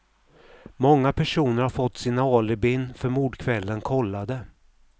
Många personer har fått sina alibin för mordkvällen kollade.